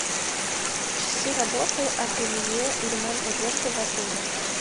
часы работы ателье и ремонта одежды в отеле